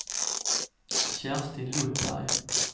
Kerstin Lundberg